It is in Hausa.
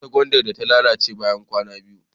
Gwandar ta lalace bayan kwana biyu.